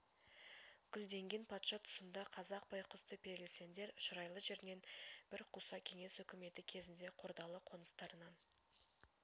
гүлденген патша тұсында қазақ байқұсты переселендер шұрайлы жернен бір қуса кеңес үкіметі кезінде қордалы қоныстарынан